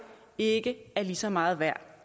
ikke er lige så meget værd